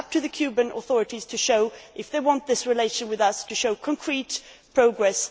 It is up to the Cuban authorities to show whether they want this relation with us to show concrete progress.